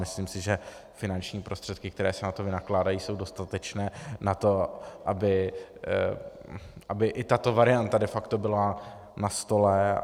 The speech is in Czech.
Myslím si, že finanční prostředky, které se na to vynakládají, jsou dostatečné na to, aby i tato varianta de facto byla na stole.